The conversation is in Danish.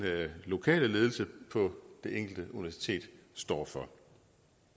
lokale ledelse på det enkelte universitet står for